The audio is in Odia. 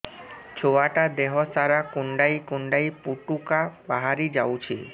ଛୁଆ ଟା ଦେହ ସାରା କୁଣ୍ଡାଇ କୁଣ୍ଡାଇ ପୁଟୁକା ବାହାରି ଯାଉଛି